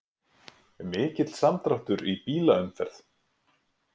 Mikill samdráttur í bílaumferð